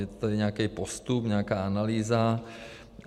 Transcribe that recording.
Je tady nějaký postup, nějaká analýza.